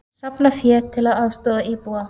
Safna fé til að aðstoða íbúa